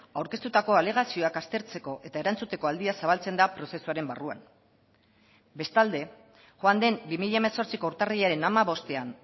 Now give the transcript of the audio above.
aurkeztutako alegazioak aztertzeko eta erantzuteko aldia zabaltzen da prozesuaren barruan bestalde joan den bi mila hemezortziko urtarrilaren hamabostean